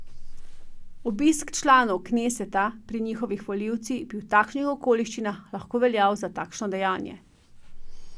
Obisk članov kneseta pri njihovih volivcih bi v takšnih okoliščinah lahko veljal za takšno dejanje.